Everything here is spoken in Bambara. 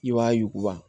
I b'a yuguba